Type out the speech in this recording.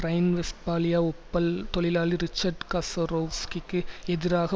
Rhine-Westphalia Opel தொழிலாளி Richard காசரோவ்ஸ்கிக்கு எதிராக